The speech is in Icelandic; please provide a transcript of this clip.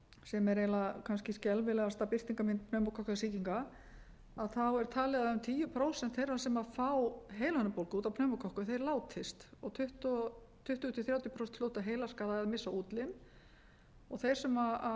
sem er eiginlega kannski skelfilegasta birtingarmynd pneumókokkasýkinga er talið að um tíu prósent þeirra sem fá heilahimnubólgu út af pneumókokkum látist og tuttugu til þrjátíu prósent hljóta heilaskaða eða missa útlim og hér á